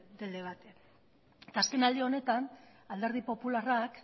del debate eta azkenaldi honetan alderdi popularrak